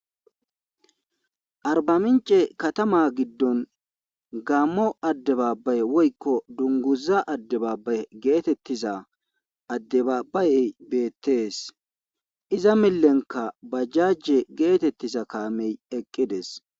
arbamince katama giddon gammo adde baabay woykko dunguza adde baabay geetettiza addebaabayey beettees iza millenka bajjajje geetettiza kaamey eqqides